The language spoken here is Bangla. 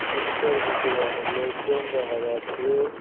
ডিস্কোর ভেতরে অনেক লোকজন দেখা যাচ্চে।